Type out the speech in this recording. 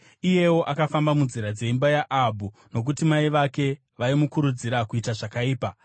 Iyewo akafamba munzira dzeimba yaAhabhu nokuti mai vake vaimukurudzira kuita zvakaipa.